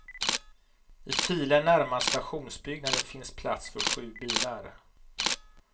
I filen närmast stationsbyggnaden finns plats för sju bilar.